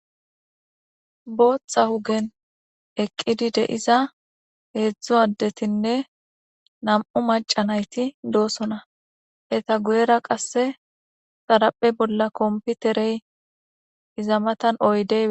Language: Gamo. Botha ogen eqidi de'iza hezu adetinee na'mu maca nayiti do'sona eta guyera qas xariphe bolla kopiterey iza matani oyidey